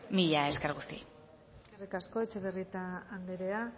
mila esker guztioi eskerrik asko etxebarrieta anderea